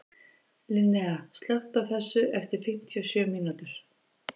Linnea, slökktu á þessu eftir fimmtíu og sjö mínútur.